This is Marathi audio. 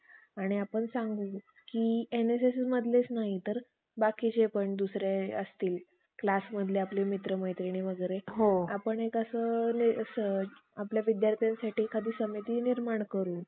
परंतु त्यातून कित्येक उरलेले कृ~ कु~ कुर्तकी ब्राम्हण कर्नाटकात पळून गेल्यानंतर त्या लोकांमध्ये शंकराचार्य नामे